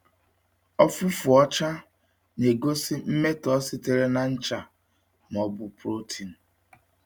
Ọfụfụ ọcha na-egosi mmetọ sitere na ncha ma ọ bụ protein.